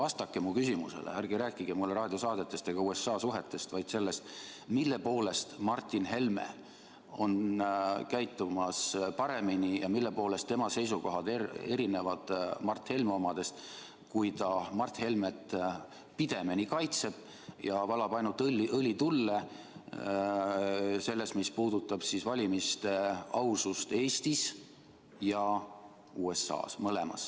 Palun vastake mu küsimusele, ärge rääkige raadiosaadetest ega USA suhetest, vaid sellest, mille poolest Martin Helme käitub paremini ja mille poolest tema seisukohad erinevad Mart Helme omadest, kui ta Mart Helmet pidemeni kaitseb ja valab ainult õli tulle küsimuses, mis puudutab valimiste ausust Eestis ja USA-s – mõlemas.